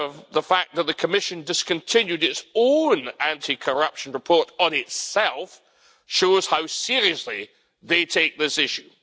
The fact that the Commission discontinued its own anti corruption report on itself shows how seriously they take this issue.